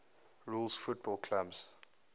rules football clubs